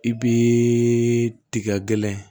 I b'i tiga gɛlɛn